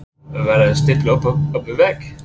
Er verið að stilla okkur upp við vegg?